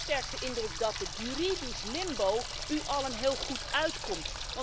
Ik heb sterk de indruk dat het juridisch limbo u allen heel goed uitkomt.